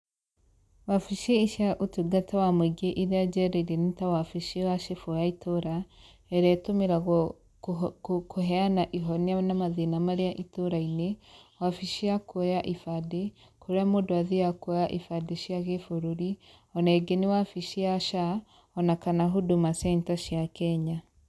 Wabici cia ῦtungata wa mῦingῖ iria njereire nῖ ta wabici wa cibῦ wa itῦra, ĩrĩa itῦmiragwo kῦhe kῦheana ihonia na mathῖna marῖa itῦra-inῖ, wabici cia kuoya ibandῖ, kῦrῖa mῦndῦ athiaga kuoya ibandῖ cia gῖbῦrῦri, ona ῖngῖ nῖ wabici ya SHA ona kana Huduma centre cia Kenya.